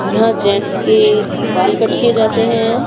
यहां जेंट्स के बाल कट किए जाते हैं।